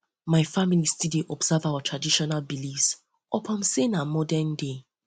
um my family still dey observe um our traditional beliefs upon sey na modernday